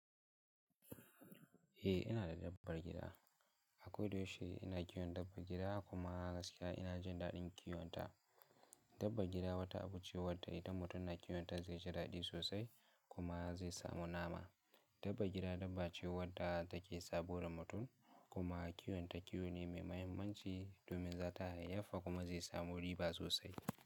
Eh ina da dabbar gida. A kodayaushe ina kiwon dabban gida kuma gaskiya ina jin daɗin kiwonta. Dabba gida wata abu ce wadda idan mutum na kiwonta zai ji daɗi sosai kuma zai samu nama. Dabba gida dabba ce wadda take saboda mutum kuma kiwonta kiwo ne mai mahimmanci domin za ta haifi kuma zai samu riba sosai.